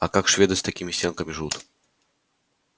а как шведы с такими стенками живут